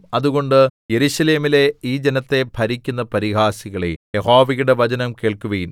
അതുകൊണ്ട് യെരൂശലേമിലെ ഈ ജനത്തെ ഭരിക്കുന്ന പരിഹാസികളേ യഹോവയുടെ വചനം കേൾക്കുവിൻ